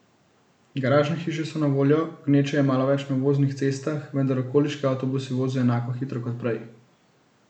Garažne hiše so na voljo, gneče je malo več na obvoznih cestah, vendar okoliški avtobusi vozijo enako hitro kot prej.